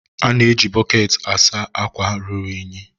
A na-eji bọketi asa akwa ruru unyi.